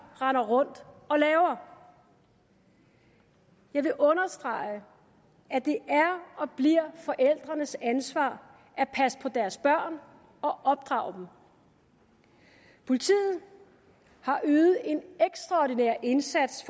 render rundt og laver jeg vil understrege at det er og bliver forældrenes ansvar at passe på deres børn og opdrage dem politiet har ydet en ekstraordinær indsats